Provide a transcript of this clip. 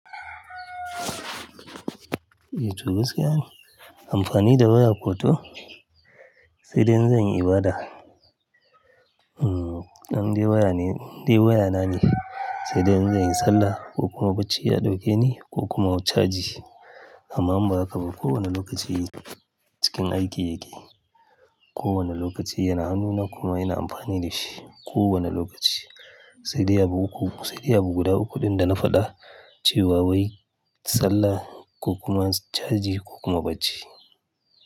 Eh to gaskiya amfani da waya ko to, sai dai in zan yi ibada. An dai waya ne, in dai waya na ne. Sai dai zan yi sallah ko kuma bacci ya ɗauke ni ko kuma wuce caji. Amma ba haka ba kowane lokaci cikin aiki yake. Ko wane lokaci yana hanuna kuma yana amfani da shi. Ko wane lokaci. Sai dai ya bu uku, sai dai ya bu guda uku ɗin da na faɗa. Cewa wai sallah ko kuma caji ko kuma bacci.